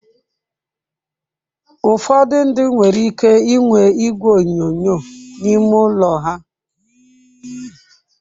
Ụfọdụ ndị nwere ike inwe igwe onyonyo n'ime ụlọ ha.